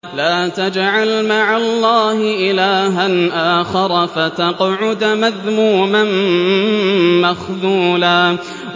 لَّا تَجْعَلْ مَعَ اللَّهِ إِلَٰهًا آخَرَ فَتَقْعُدَ مَذْمُومًا مَّخْذُولًا